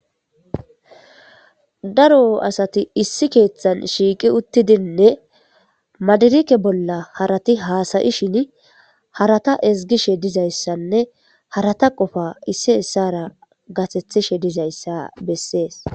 Daro asati issi keethan shiiqi uttidinne madirike bolla harati haasayi shin harata ezgishe dizayssanne harata qofa issi essara gatethishe dizayssa bessees.